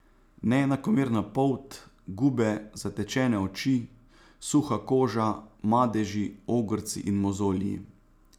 Neenakomerna polt, gube, zatečene oči, suha koža, madeži, ogrci in mozolji.